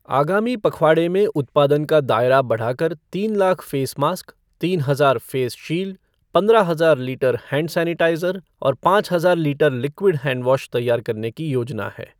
आगामी पखवाड़े में उत्पादन का दायरा बढ़ाकर तीन लाख फ़ेस मास्क, तीन हजार फेस शील्ड, पंद्रह हजार लीटर हैंड सैनिटाइज़र और पाँच हजार लीटर लिक्विड हैंड वॉश तैयार करने की येाजना है।